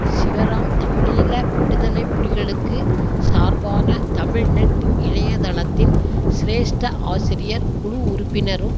சிவராம் தமிழீழ விடுதலை புலிகளுக்கு சார்பான தமிழ்நெட் இணைய தளத்தின் சிரேஷ்ட ஆசிரியர் குழு உறுப்பினரும்